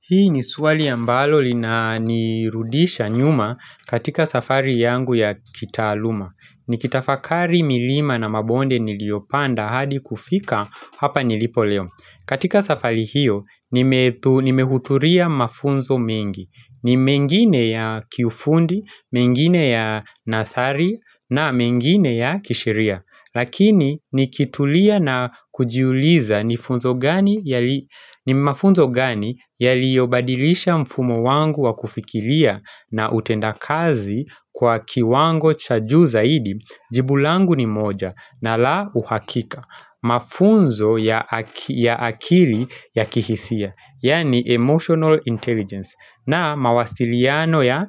Hii ni swali ambalo lina nirudisha nyuma katika safari yangu ya kitaaluma. Nikitafakari milima na mabonde niliopanda hadi kufika hapa nilipo leo. Katika safari hiyo, nimehudhuria mafunzo mengi. Ni mengine ya kiufundi, mengine ya nathari na mengine ya kisheria. Lakini ni kitulia na kujiuliza ni funzo gani mafunzo gani yaliyo badilisha mfumo wangu wa kufikiria na utenda kazi kwa kiwango cha juu zaidi jibu langu ni moja na la uhakika Mafunzo ya ya akili ya kihisia, yaani emotional intelligence na mawasiliano ya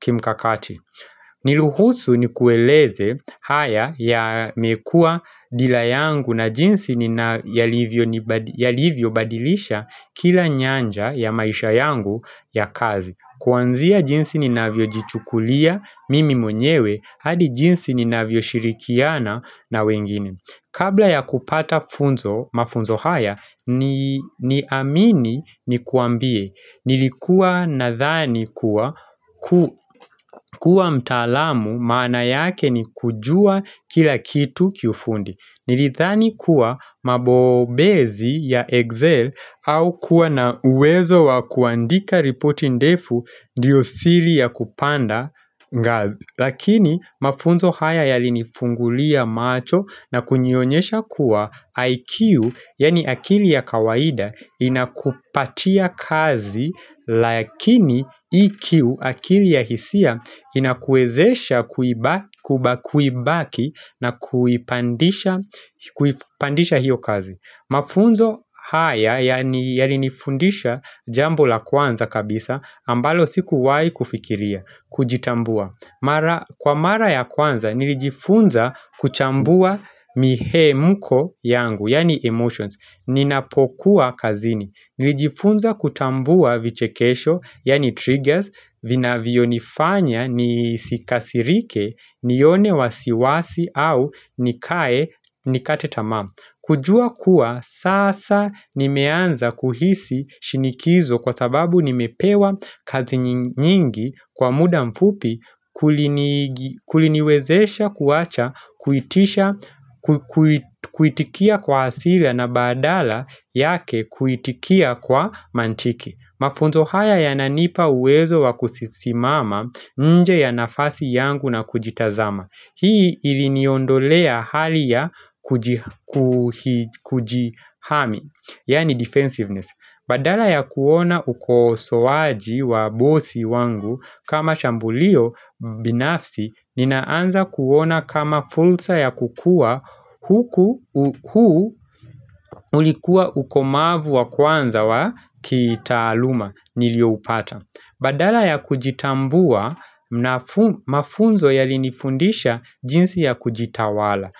kimkakati Niruhusu ni kueleze haya yamekua dila yangu na jinsi nina yalivyo ni yalivyo badilisha kila nyanja ya maisha yangu ya kazi Kwanzia jinsi ni navyo jichukulia mimi mwenyewe hadi jinsi ni navyo shirikiana na wengine Kabla ya kupata funzo mafunzo haya ni amini ni kuambie Nilikuwa na dhani kuwa kuwa mtaalamu mawna yake ni kujua kila kitu kiufundi Nilidhani kuwa mabobezi ya Excel au kuwa na uwezo wa kuandika ripoti ndefu ndio siri ya kupanda ngazi Lakini mafunzo haya yali ni fungulia macho na kunioyonyesha kuwa IQ, yaani akili ya kawaida, inakupatia kazi, lakini EQ, akili ya hisia, inakuwezesha kuibaki na kuipandisha kuipandisha hiyo kazi. Mafunzo haya, yalini fundisha jambo la kwanza kabisa, ambalo siku wai kufikiria, kujitambua. Mara Kwa mara ya kwanza, nilijifunza kuchambua mihemuko yangu, yaani emotions. Ninapokuwa kazini. Nilijifunza kutambua vichekesho, yani triggers, vinavyonifanya, nisikasirike, nione wasiwasi au nikae, nikate tamaa. Kujua kuwa sasa nimeanza kuhisi shinikizo kwa sababu nimepewa kazi nyingi kwa muda mfupi kulini kuliniwezesha kuwacha kuitikia kwa hasira na badala yake kuitikia kwa mantiki Mafunzo haya ya nanipa uwezo wakusisimama nje ya nafasi yangu na kujitazama. Hii iliniondolea hali ya kujihami, yani defensiveness. Badala ya kuona ukosoaji wa bosi wangu kama shambulio binafsi, ninaanza kuona kama fursa ya kukua huku ulikua ukomavu wa kwanza wa kitaaluma. Nilio upata. Badala ya kujitambua mafunzo yali nifundisha jinsi ya kujitawala.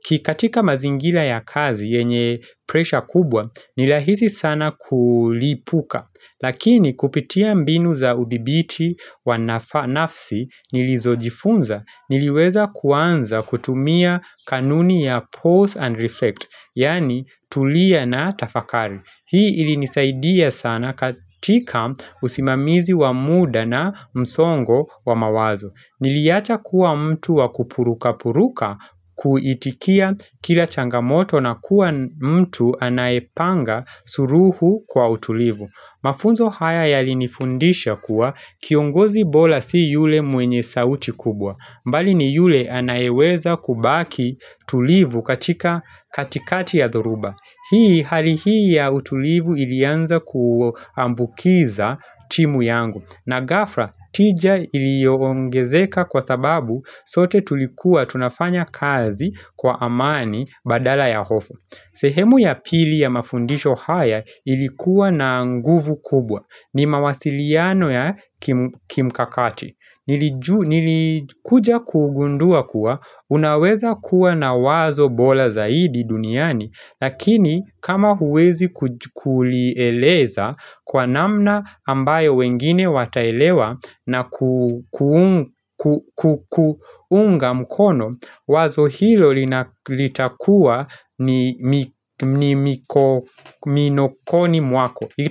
Kikatika mazingira ya kazi yenye pressure kubwa nirahisi sana kulipuka. Lakini kupitia mbinu za uthibiti wafaa nafsi nilizojifunza niliweza kuanza kutumia kanuni ya pause and reflect. Yaani tulia na tafakari. Hii ili nisaidia sana katika usimamizi wa muda na msongo wa mawazo. Niliacha kuwa mtu wa kupuruka puruka kuitikia kila changamoto na kuwa mtu anaepanga suluhu kwa utulivu. Mafunzo haya ya linifundisha kuwa kiongozi bora si yule mwenye sauti kubwa mbali ni yule anayeweza kubaki tulivu katika katikati ya dhoruba. Hii hali hii ya utulivu ilianza kuambukiza timu yangu na gafla tija iliongezeka kwa sababu sote tulikuwa tunafanya kazi kwa amani badala ya hofu. Sehemu ya pili ya mafundisho haya ilikuwa na nguvu kubwa ni mawasiliano ya kimkakati Nilikuja kugundua kuwa unaweza kuwa na wazo bora zaidi duniani Lakini kama huwezi kulieleza kwa namna ambayo wengine wataelewa na kuunga mkono Wazo hilo litakua ni miko minokoni mwako.